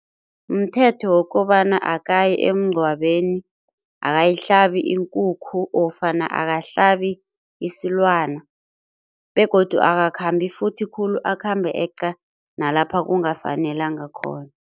Mthetho wokobana akayi emngcwabeni, akayihlabi iinkukhu ofana akahlabi isilwana begodu akakhambi futhi khulu akhambe eqa nalapha kungafanelanga khona.